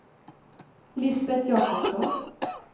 Lisbet Jacobsson